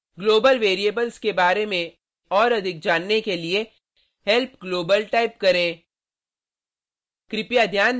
global variables के बारे में और अधिक जानने के लिए help global टाइप करें